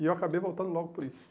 E eu acabei voltando logo por isso.